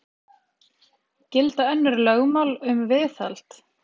Gilda önnur lögmál um viðhald